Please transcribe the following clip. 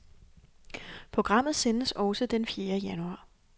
Programmet sendes også et fjerde januar.